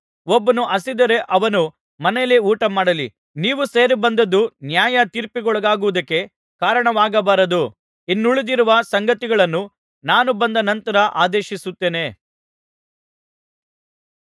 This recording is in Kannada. ಒಬ್ಬನು ಹಸಿದರೆ ಅವನು ಮನೆಯಲ್ಲೇ ಊಟಮಾಡಲಿ ನೀವು ಸೇರಿಬಂದದ್ದು ನ್ಯಾಯ ತೀರ್ಪಿಗೊಳಗಾಗುವುದಕ್ಕೆ ಕಾರಣವಾಗಬಾರದು ಇನ್ನುಳಿದಿರುವ ಸಂಗತಿಗಳನ್ನು ನಾನು ಬಂದ ನಂತರ ಆದೇಶಿಸುತ್ತೇನೆ